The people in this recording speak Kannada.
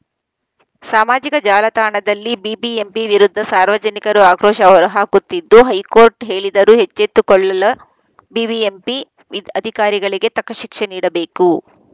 ಸಾಮಾಜಿಕ ಜಾಲತಾಣದಲ್ಲಿ ಬಿಬಿಎಂಪಿ ವಿರುದ್ಧ ಸಾರ್ವಜನಿಕರು ಆಕ್ರೋಶ ಹೊರಹಾಕುತ್ತಿದ್ದು ಹೈಕೋರ್ಟ್‌ ಹೇಳಿದರೂ ಎಚ್ಚೆತ್ತುಕೊಳ್ಳಲ ಬಿಬಿಎಂಪಿ ಅಧಿಕಾರಿಗಳಿಗೆ ತಕ್ಕ ಶಿಕ್ಷೆ ನೀಡಬೇಕು